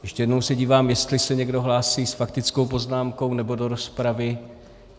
Ještě jednou se dívám, jestli se někdo hlásí s faktickou poznámkou nebo do rozpravy.